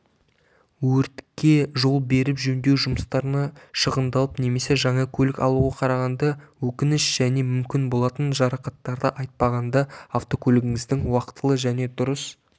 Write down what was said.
өртке жол беріп жөндеу жұмыстарына шығындалып немесе жаңа көлік алуға қарағанда өкініш және мүмкін болатын жарақаттарды айтпағанда автокөлігіңізді уақытылы және дұрыс